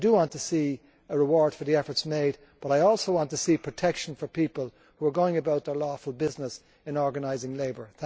I want to see a reward for the efforts made but I also want to see protection for people who are going about their lawful business in organising labour.